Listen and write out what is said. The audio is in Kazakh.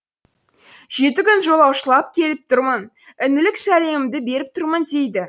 жеті күн жолаушылап келіп тұрмын інілік сәлемімді беріп тұрмын дейді